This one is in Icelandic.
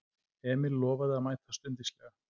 Emil lofaði að mæta stundvíslega.